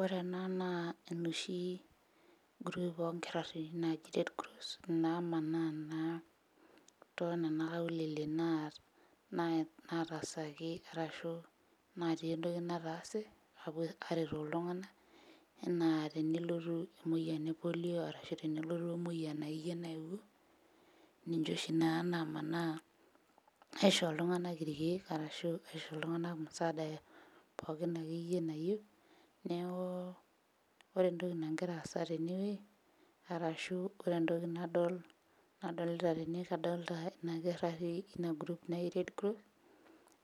Ore ena naa enoshi group onkirarritin naji red cross namanaa naa tonena aulele naat nataasaki arashu natii entoki nataase apuo aretoo iltung'ana enaa tenelotu emoyiani e polio ashu tenelotu emoyian akeyie naewuo ninche oshi naa namanaa aisho iltung'anak irkeek arashu aisho iltung'anak musaada eh pookin akeyie nayieu neeku ore entoki nagira aas tenewueji arashu ore entoki nadol nadolita tene kadolta ina kirrari ina group naji red cross